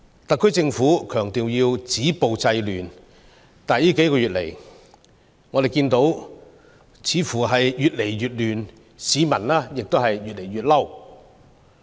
特區政府強調要止暴制亂，但最近數月，我們看到似乎越來越亂，市民越來越憤怒。